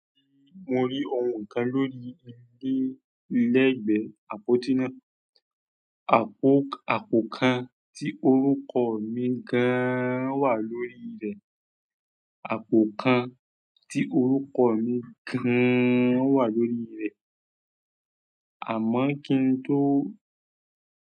Mo rí ohun kan lórí ilé lẹ́gbẹ̀ẹ́ àpótí náà. Àpò kan ti orúkọ. Àpò kan tí orúkọ mi gan wà lórí rẹ̀. Àmọ́ kín tó.